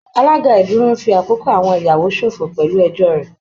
Alága ìdúró ń fi àkókò àwọn ìyàwó ṣòfò pẹ̀lú ẹjọ́ rẹ̀